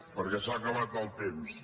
perquè s’ha acabat el temps